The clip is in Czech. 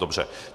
Dobře.